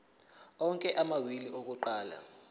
onke amawili akuqala